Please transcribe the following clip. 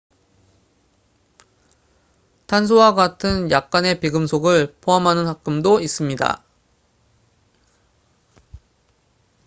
탄소와 같은 약간의 비금속을 포함하는 합금도 있습니다